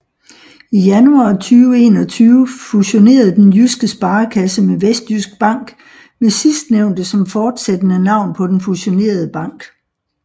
I januar 2021 fusionerede Den Jyske Sparekasse med Vestjysk Bank med sidstnævnte som fortsættende navn på den fusionerede bank